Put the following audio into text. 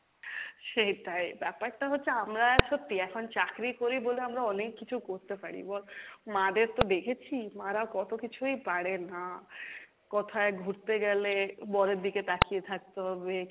সেটাই, ব্যাপার টা হচ্ছে আমরা সত্যি এখন চাকরি করি বলে আমরা অনেক কিছু করতে পারি বল, মা দের তো দেখেছি মারা কত কিছুই পারে না, কোথাই ঘুরতে গেলে বরের দিকে তাকিয়ে থাকতে হবে,